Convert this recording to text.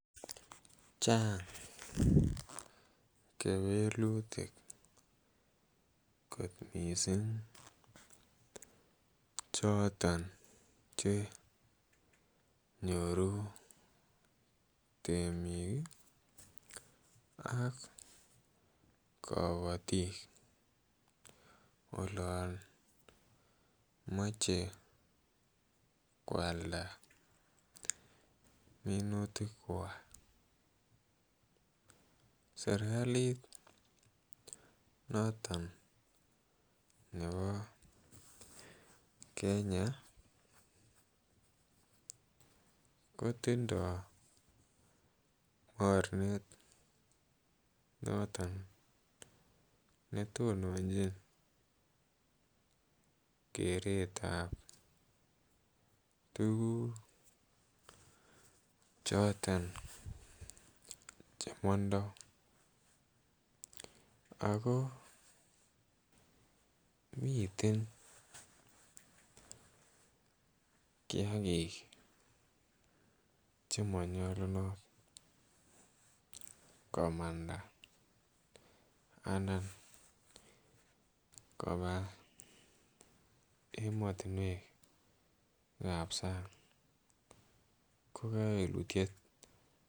Chang kewelutik kot mising choton Che nyoru temik ak kabatik olon moche koalda minutikwak serkalit noton nebo Kenya kotindoi mornet noton ne tononjin keretab tuguk choton Che mandoi ago miten kiagik Che manyolunot komanda anan koba emotinwek ab sang ko kewelutiet